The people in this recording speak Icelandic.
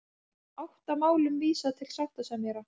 Átta málum vísað til sáttasemjara